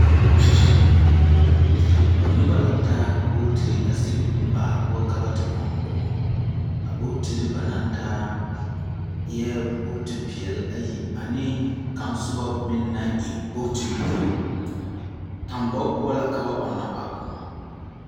Noba la taa bootiri a sigi baa poͻ ka ba te ͻŋ kõͻ. A bootiri ba naŋ taa eԑԑ bogiti-peԑle ayi a ne ka kaŋe soba meŋ naŋ e bogiti-buluu. Tambͻge poͻ la ka ba ͻnnͻ a kõͻ.